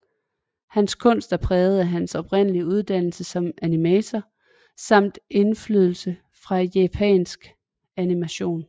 Hans kunst er præget af hans oprindelige uddannelse som animator samt indflydelse fra japansk animation